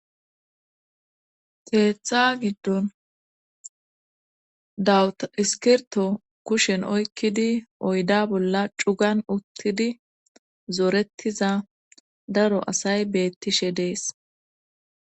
keeththa giddon dawuta iskirto kushen oykkidi oyda bolla cugan uttidi zoorettiza daro asay beettishe dees.